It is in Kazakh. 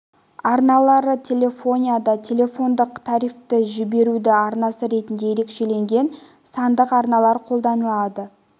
арналары телефонияда телефондық трафикті жіберудің арнасы ретінде ерекшеленген сандық арналар қолданылады